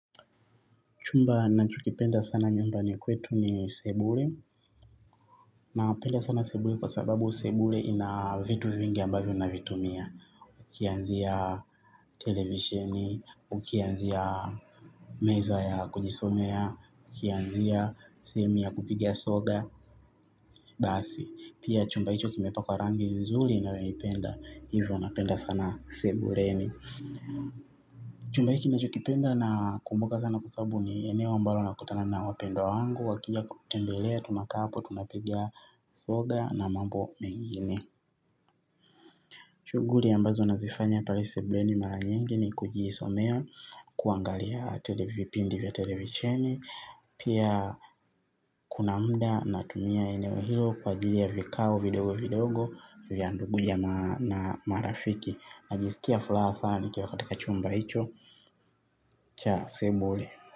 Chumba nachokipenda sana nyumbani kwetu ni sebule. Napenda sana sebule kwa sababu sebule ina vitu vingi ambavyo navitumia. Ukianzia televisheni, ukianzia meza ya kujisomea, ukianzia sehemu ya kupiga soga, basi. Pia chumba hicho kimepakwa rangi nzuri nayoipenda, hivyo napenda sana sebuleni. Chumba hiki nachokipenda nakumbuka sana kwa sababu ni eneo ambalo nakutana na wapendwa wangu. Wakija kunitembelea, tunakaa hapo, tunapiga soga na mambo mengine shughuli ambazo nazifanya pale sebuleni mara nyingi ni kujisomea kuangalia televipindi vya televisheni. Pia kuna muda natumia eneo hilo kwa ajili ya vikao, vidogo, vidogo vya ndugu jamaa na marafiki najisikia furaha sana nikiwa katika chumba hicho cha sebule.